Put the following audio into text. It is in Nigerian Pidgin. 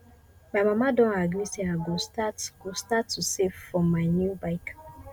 my mama don agree say i go start go start to save for my new bike